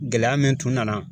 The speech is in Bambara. Gɛlɛya min tun nana